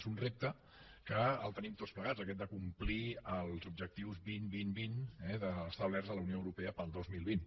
és un repte que el tenim tots plegats aquest de complir els objectius vint vint vint eh establerts a la unió europea per al dos mil vint